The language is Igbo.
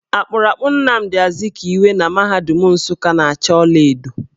Akpụrụakpụ Namdị Azikiwe na mahadum Nsukka na acha ọlaedo.